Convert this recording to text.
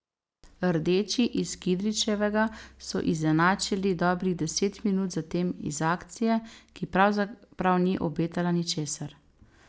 Rdeči iz Kidričevega so izenačili dobrih deset minut zatem iz akcije, ki pravzaprav ni obetala ničesar.